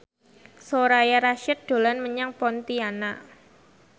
Soraya Rasyid dolan menyang Pontianak